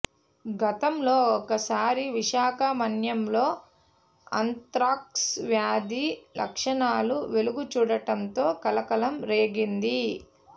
గతంలో ఒక సారి విశాఖ మన్యంలో ఆంత్రాక్స్ వ్యాధి లక్షణాలు వెలుగుచూడటంతో కలకలం రేగింది